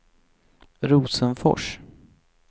Rosenfors